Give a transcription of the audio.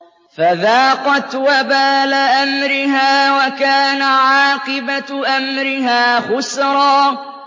فَذَاقَتْ وَبَالَ أَمْرِهَا وَكَانَ عَاقِبَةُ أَمْرِهَا خُسْرًا